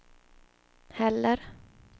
heller